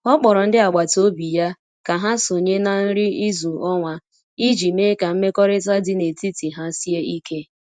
O kpọrọ ndị agbata obi ya ka ha sonye na nri izu ọnwa iji mee ka mmekọrịta dị n’etiti ha sie ike.